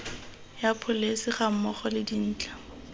ya pholesi gammogo le dintlha